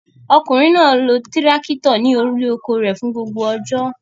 Ọkùnrin náà lọ tírákítọ̀ ní orí oko rẹ̀ fún gbogbo ọjọ́.